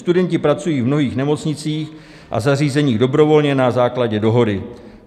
Studenti pracují v mnohých nemocnicích a zařízeních dobrovolně na základě dohody.